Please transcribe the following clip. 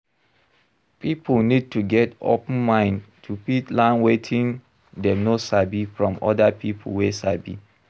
Pipo need to get open mind to fit learn wetin dem no sabi from oda pipo wey sabi